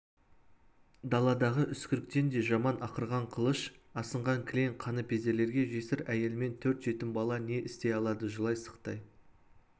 даладағы үскіріктен де жаман ақырған қылыш асынған кілең қаныпезерлерге жесір әйелмен төрт жетім бала не істей алады жылай-сықтай